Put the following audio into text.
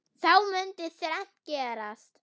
Þá mundi þrennt gerast